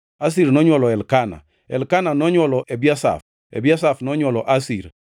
Asir nonywolo Elkana, Elkana nonywolo Ebiasaf, Ebiasaf nonywolo Asir,